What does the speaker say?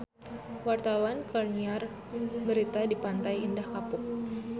Wartawan keur nyiar berita di Pantai Indah Kapuk